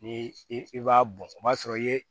Ni i b'a bɔn o b'a sɔrɔ i ye